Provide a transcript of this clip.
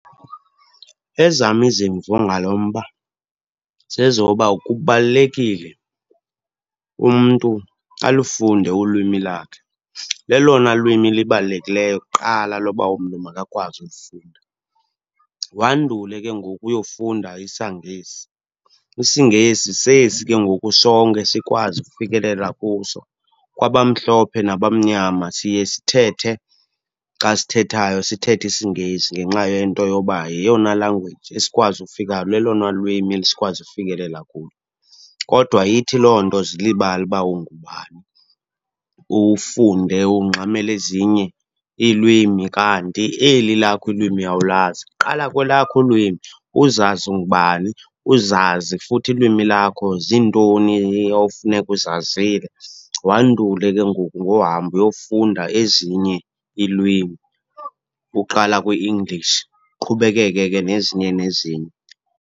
Ezam izimvo ngalo mba zezoba kubalulekile umntu alufunde ulwimi lakhe. Lelona lwimi libalulekileyo kuqala loba umntu makakwazi ulifunda, wandule ke ngoku uyofunda isaNgesi. IsiNgesi sesi ke ngoku sonke sikwazi ufikelela kuso, kwabamhlophe nabamnyama. Siye sithethe xa sithethayo sithethe isiNgesi ngenxa yento yoba yeyona language esikwazi ukufika, lelona lwimi esikwazi ufikelela kulo. Kodwa ayithi loo nto zilibale uba ngubani, ufunde ungxamele ezinye iilwimi kanti eli lakho ilwimi awulazi. Qala kwelakho ulwimi, uzazi ungubani, uzazi futhi ilwimi lakho zintoni ofuneka uzazile. Wandule ke ngoku ngohamba uyofunda ezinye iilwimi, uqala kwi-English uqhubekeke ke nezinye nezinye.